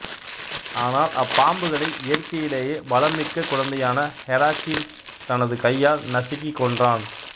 ஆனால் அப்பாம்புகளை இயற்கையிலேயே பலம் மிக்க குழந்தையான ஹெராக்கிள்ஸ் தனது கையால் நசுக்கிக் கொன்றான்